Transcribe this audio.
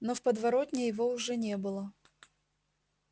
но в подворотне его уже не было